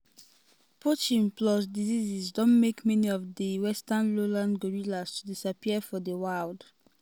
poaching plus disease don make many of di di western lowland gorillas to disappear for di wild.